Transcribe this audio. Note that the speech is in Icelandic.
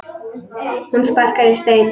Hún sparkar í stein.